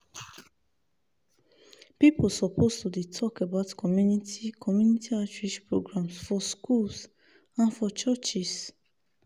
people suppose to dey talk about community community outreach programs for schools and for churches.